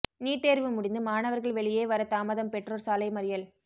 NEET தேர்வு முடிந்து மாணவர்கள் வெளியே வர தாமதம் பெற்றோர் சாலை மறியல்